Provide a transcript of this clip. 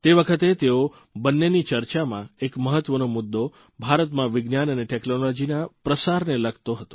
તે વખતે તેઓ બંનેની ચર્ચામાં એક મહત્વનો મુદ્દો ભારતમાં વિજ્ઞાન અને ટેકનોલોજીના પ્રચાર પ્રસારને લગતો હતો